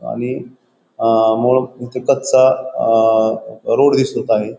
आणि अ मो इथे कच्चा अ रोड दिसत आहे.